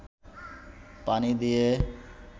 পানি দিয়ে